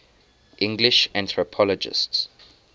english anthropologists